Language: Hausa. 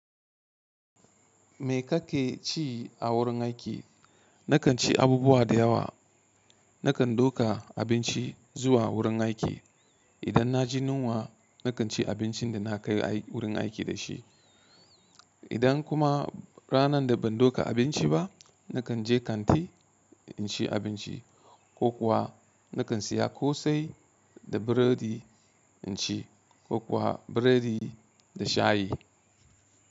Me kake ci a wurin aiki? Nakan ci abubuwa da yawa. Nakan ɗauka abinci zuwa wurin aiki. Idan na ji yunwa, nakan ci abincin da na kai wurin aiki da shi. Idan kuma ranar da ban ɗauka abinci ba, nakan je kanti in ci abinci ko kuwa nakan siya kosai da burodi in ci ko kuwa burodi da shayi.